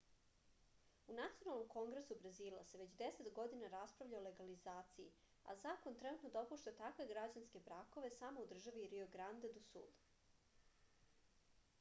u nacionalnom kongresu brazila se već 10 godina raspravlja o legalizaciji a zakon trenutno dopušta takve građanske brakove samo u državi rio grande do sul